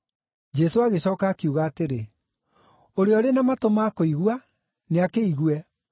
Jesũ agĩcooka akiuga atĩrĩ, “Ũrĩa ũrĩ na matũ ma kũigua, nĩakĩigue.”